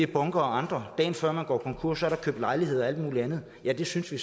bunker og andre dagen før man går konkurs er der købt lejligheder og alt muligt andet ja det synes vi